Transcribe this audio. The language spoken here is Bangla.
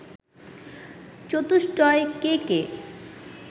চতুষ্টয় কে কে